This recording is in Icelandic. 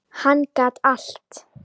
Hann gat allt.